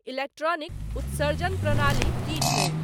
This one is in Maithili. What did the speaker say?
इलेक्ट्रॉनिक उत्सर्जन प्रणाली की छै